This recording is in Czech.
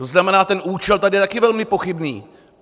To znamená, ten účel tady je taky velmi pochybný!